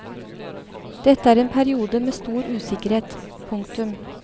Dette er en periode med stor usikkerhet. punktum